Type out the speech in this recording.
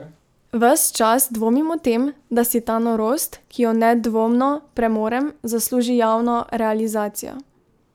Ves čas dvomim o tem, da si ta norost, ki jo nedvomno premorem, zasluži javno realizacijo.